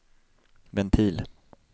ventil